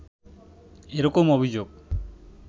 এরকম অভিযোগ